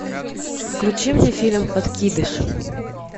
включи мне фильм подкидыш